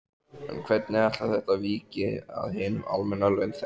En hvernig ætlar þetta víki við hinum almenna launþega?